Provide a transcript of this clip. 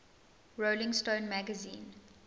rolling stone magazine